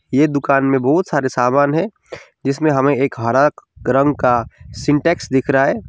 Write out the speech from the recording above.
ये दुकान में बहुत सारे सामान है जिसमें हमें एक हरा रंग का सिंटेक्स दिख रहा है।